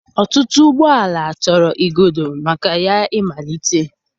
Ọtụtụ ụgbọ ala chọrọ igodo maka ya ịmalite.